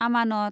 आमानत